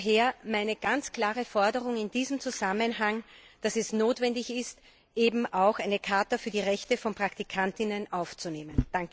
Daher meine ganz klare Forderung in diesem Zusammenhang Es ist notwendig, eben auch eine Charta für die Rechte von Praktikanten aufzunehmen.